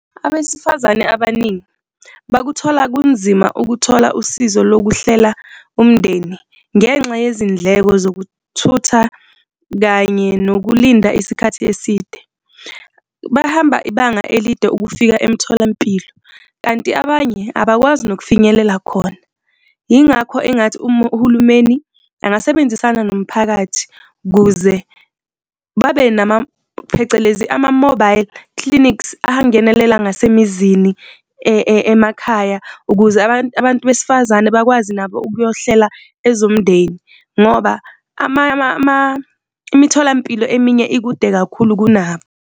Abesifazane abaningi bakuthola kunzima ukuthola usizo lokuhlela umndeni, ngenxa yezindleko zokuthutha kanye nokulinda isikhathi eside. Bahamba ibanga elide ukufika emtholampilo kanti abanye abakwazi nokufinyelela khona. Yingakho engathi uma uhulumeni engasebenzisana nomphakathi ukuze babe nama, phecelezi, ama-mobile clinics angenelela ngasemizini emakhaya ukuze abantu besifazane bakwazi nabo ukuyohlela ezomndeni ngoba imitholampilo eminye ikude kakhulu kunabo.